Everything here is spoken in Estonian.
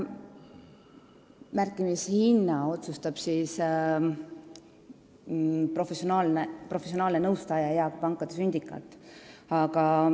Märkimishinna otsustavad professionaalne nõustaja ja pankade sündikaat.